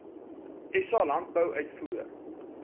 sa landbou uitvoere